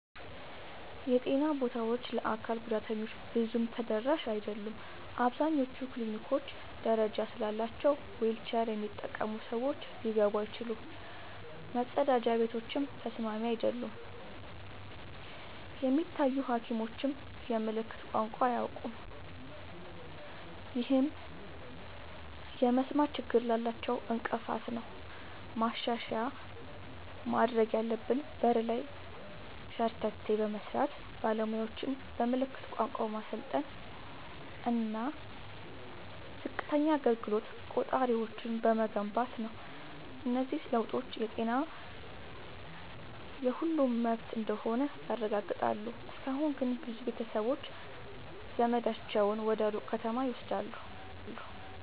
የጤና ቦታዎች ለአካል ጉዳተኞች ብዙም ተደራሽ አይደሉም። አብዛኞቹ ክሊኒኮች ደረጃ ስላላቸው ዊልቸር የሚጠቀሙ ሰዎች ሊገቡ አይችሉም፤ መጸዳጃ ቤቶችም ተስማሚ አይደሉም። የሚታዩ ሐኪሞችም የምልክት ቋንቋ አያውቁም፣ ይህም የመስማት ችግር ላላቸው እንቅፋት ነው። ማሻሻያ ማድረግ ያለብን በር ላይ ሸርተቴ በመስራት፣ ባለሙያዎችን በምልክት ቋንቋ በማሰልጠን እና ዝቅተኛ አገልግሎት ቆጣሪዎችን በመገንባት ነው። እነዚህ ለውጦች ጤና የሁሉም መብት እንደሆነ ያረጋግጣሉ። እስካሁን ግን ብዙ ቤተሰቦች ዘመዳቸውን ወደ ሩቅ ከተማ ይወስዷቸዋል።